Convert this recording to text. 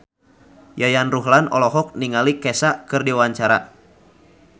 Yayan Ruhlan olohok ningali Kesha keur diwawancara